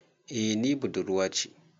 Eh ni budurwa ce.